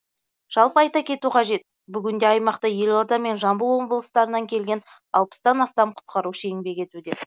жалпы айта кету қажет бүгінде аймақта елорда мен жамбыл облыстарынан келген алпыстан астам құтқарушы еңбек етуде